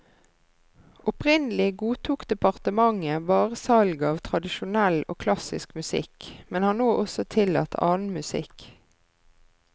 Opprinnelig godtok departementet bare salg av tradisjonell og klassisk musikk, men har nå også tillatt annen musikk.